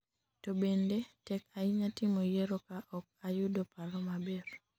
to bende tek ahinya timo yiero ka ok ayudo paro maber